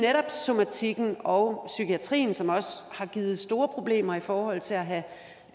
somatikken og psykiatrien som også har givet store problemer i forhold til at